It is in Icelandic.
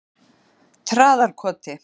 Traðarkoti